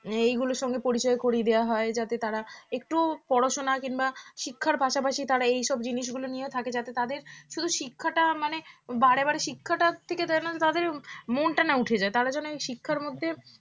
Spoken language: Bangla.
এগুলোর সঙ্গে পরিচয় করিয়ে দেওয়া হয় যাতে তাঁরা একটু পড়াশোনা কিংবা শিক্ষার পাশাপাশি তাঁরা এই সব জিনিসগুলো নিয়ে থাকে যাতে তাদের শুধু শিক্ষাটা মানে বারেবারে শিক্ষাটার থেকে তাদের মনটা না উঠে যায় তার যেন এই শিক্ষার মধ্যে